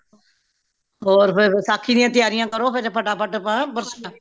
ਹੋਰ ਫੇਰ ਵਸਾਖ਼ੀ ਦੀਆਂ ਤਿਆਰੀਆਂ ਕਰੋ ਫੇਰ ਫਟਾ ਫਟ ਹੈ